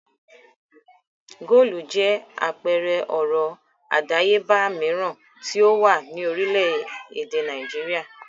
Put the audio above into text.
Góólù jẹ́ àpẹẹrẹ ọrọ̀ àdáyébà mìíràn tí ó wà ní orílẹ̀-èdè Nàìjíríà.